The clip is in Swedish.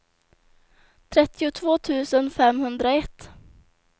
trettiotvå tusen femhundraett